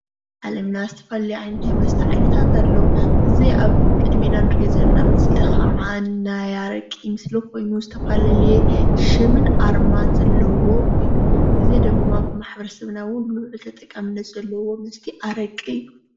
ዓለምና ዝተፈላለዩ ዓይነታት መስተት ዓይነታት ኣለዉ። እዚ ኣብ ቅድሚና እንሪኦ ዘለና ምስሊ ከዓ ናይ ኣረቂ ምስሊ ኮይኑ ዝተፈላለዩ ሽምን ኣርማን ዘለዎ እዩ። እዚ ድማ ማሕበረሰብና ውን ቡልዕል ተጠቃምነት ዘለዉዎ መስተ ኣረቂ እዩ።